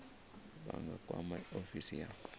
vha nga kwama ofisi ya